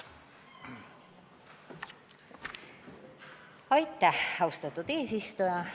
Austatud eesistuja!